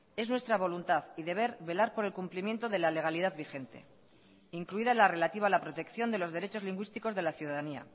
es nuestra voluntad y deber velar por el cumplimiento de la legalidad vigente incluida la relativa a la protección de los derechos lingüísticos de la ciudadanía